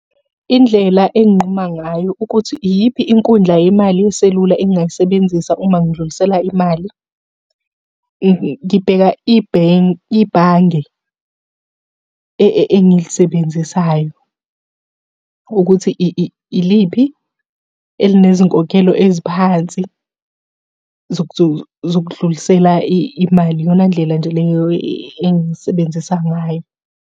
Indlela enginquma ngayo ukuthi, iyiphi inkundla yemali yeselula engingayisebenzisa uma ngidlulisela imali? Ngibheka ibhange engilisebenzisayo ukuthi iliphi elinezinkokhelo eziphansi, zokudlulisela imali. Iyona ndlela nje leyo engiyisebenzisa ngayo.